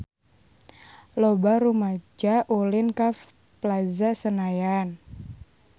Loba rumaja ulin ka Plaza Senayan